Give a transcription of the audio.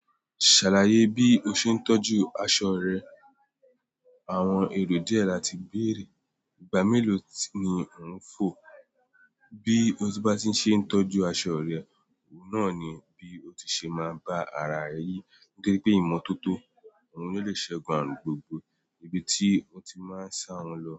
Ṣàlàyé bí o ṣe ń tọ́jú aṣọ rẹ. Àwọn ère díẹ̀ láti bèèrè, ìgbà mélòó sì ni ò ń fò? Bí o bá ṣe ń tọ́jú aṣọ rẹ, òun náà ni bí o ti ṣe máa bá ara rẹ yí, nítorí pé ìmọ́tótó òun ni ó lè ṣẹgun ààrùn gbogbo ibi tí ó ti máa ń sá wọn lọ.